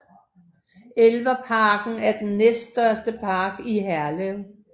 Elverparken er den næststørste park i Herlev